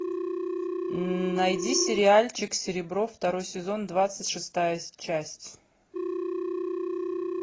найди сериальчик серебро второй сезон двадцать шестая часть